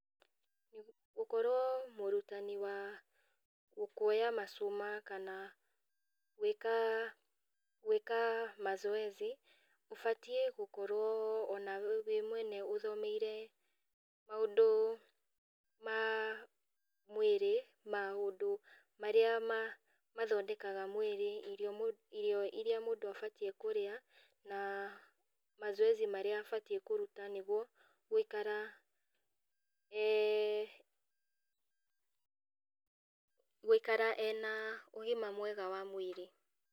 Gũkorwo mũrutani wa kuoya macuma kana gwĩka gwĩka mazoezi ũbatiĩ gũkorwo onawe wĩ mwene ũthomeire maũndũ ma mwĩrĩ, maũndũ marĩa ma mathondekaga mwĩri, irio iria mũndũ abatiĩ kũrĩa, na mazoezi marĩa abatiĩ kũruta nĩguo gũĩkara e gũikara ena ũgima mwega wa mwĩrĩ.